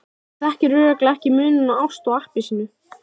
Þú þekkir örugglega ekki muninn á ást og appelsínu.